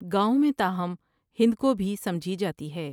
گاؤں میں تاہم ہند کو بھی سمجھی جاتی ہے